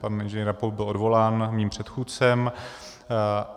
Pan Ing. Rampouch byl odvolán mým předchůdcem.